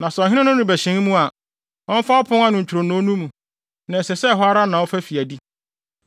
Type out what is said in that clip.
Na sɛ ɔhene no rebɛhyɛn mu a, ɔmfa ɔpon no ntwironoo no mu, na ɛsɛ sɛ hɔ ara na ɔfa de fi adi.